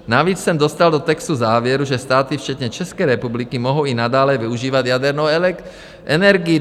Navíc jsem dostal do textu závěrů, že státy včetně České republiky mohou i nadále využívat jadernou energii.